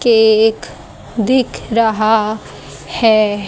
Cake दिख रहा है।